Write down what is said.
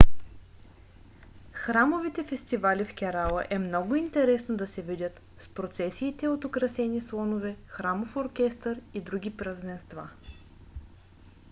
храмовите фестивали в керала е много е интересно да се видят с процесиите от украсени слонове храмов оркестър и други празненства